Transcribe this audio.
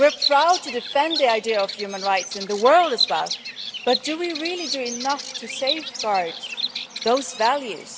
We are proud to defend the idea of human rights in the world as well, but do we really do enough to safeguard those values?